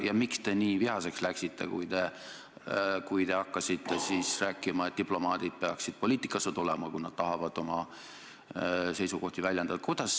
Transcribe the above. Ja miks te nii vihaseks läksite, kui hakkasite rääkima, et diplomaadid peaksid poliitikasse tulema, kui nad tahavad oma seisukohti väljendada?